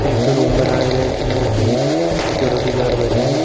एक रूम बनाया गया है जिसमें कि सिक्योरिटी गार्ड बैठे हैं।